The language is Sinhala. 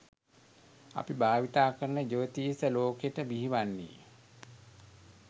අපි භාවිතා කරන ජ්‍යොතිෂය ලෝකෙට බිහිවන්නේ